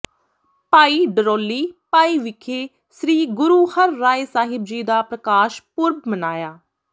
ਭਾਈ ਡਰੋਲੀ ਭਾਈ ਵਿਖੇ ਸ੍ਰੀ ਗੁਰੂ ਹਰਿਰਾਇ ਸਾਹਿਬ ਜੀ ਦਾ ਪ੍ਰਕਾਸ਼ ਪੁਰਬ ਮਨਾਇਆ